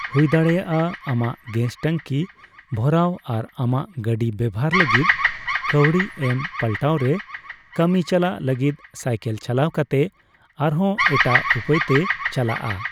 ᱦᱩᱭᱫᱟᱲᱮᱭᱟᱜᱼᱟ, ᱟᱢᱟᱜ ᱜᱮᱥ ᱴᱟᱹᱝᱠᱤ ᱵᱷᱚᱨᱟᱣ ᱟᱨ ᱟᱢᱟᱜ ᱜᱟᱹᱰᱤ ᱵᱮᱵᱷᱟᱨ ᱞᱟᱹᱜᱤᱫ ᱠᱟᱹᱣᱰᱤ ᱮᱢ ᱯᱟᱞᱴᱟᱣᱨᱮ, ᱠᱟᱹᱢᱤ ᱪᱟᱞᱟᱜ ᱞᱟᱹᱜᱤᱫ ᱥᱟᱭᱠᱮᱞ ᱪᱟᱞᱟᱣ ᱠᱟᱛᱮ ᱟᱨᱦᱚᱸ ᱮᱴᱟᱜ ᱩᱯᱟᱹᱭᱛᱮᱭ ᱪᱟᱞᱟᱜᱼᱟ᱾